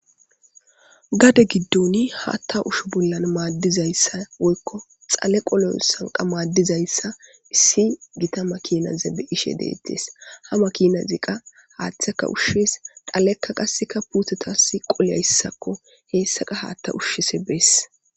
Gaade giidon haththa ushon madizassa woyko dhalle qollon maddizayssa issi giita maakina beishe dettes ha maakkinazika qa haththeka ushessi dhalleka qassse puutetas qolloyaysakko hessaka hatta ushishe bess.